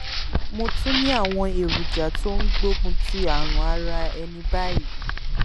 mo tún ní àwọn èròjà tó ń gbógun ti àrùn ara ẹni báyìí